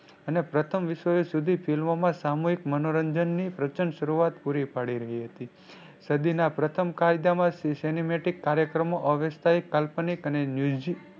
અને પ્રથમ વિશ્વ યુદ્ધ સુધી ફિલ્મોમાં સામૂહિક મનોરંજન ની પ્રચંડ શરૂઆત પૂરી પડી રહી હતી. સદી ના પ્રથમ કાયદા માં કાર્યક્રમો અવિષપાઈક, કાલ્પનિક અને News